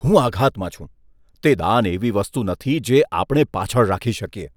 હું આઘાતમાં છું! તે દાન એવી વસ્તુ નથી, જે આપણે પાછળ રાખી શકીએ.